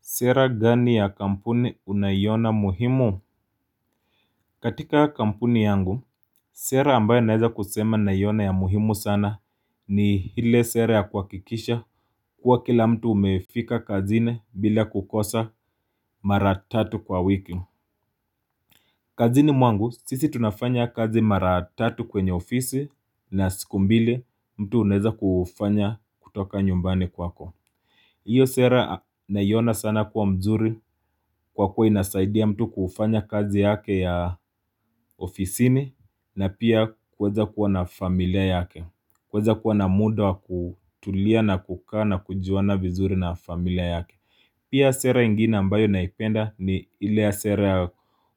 Sera gani ya kampuni unaiona muhimu? Katika kampuni yangu, sera ambayo naeza kusema naiona ya muhimu sana ni ile sera ya kuhakikisha kuwa kila mtu umefika kazini bila kukosa mara tatu kwa wiki. Kazini mwangu, sisi tunafanya kazi mara tatu kwenye ofisi na siku mbili mtu unaeza kufanya kutoka nyumbani kwako. Iyo sera naiona sana kuwa mzuri kwa kuwa inasaidia mtu kufanya kazi yake ya ofisini na pia kuweza kuwa na familia yake. Kuweza kuwa na muda wa kutulia na kukaa na kujuana vizuri na familia yake. Pia sera ingine ambayo naipenda ni ile sera ya